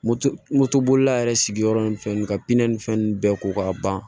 Moto moto bolila yɛrɛ sigiyɔrɔ ni fɛn ka pinɛ ni fɛn ninnu bɛɛ ko k'a ban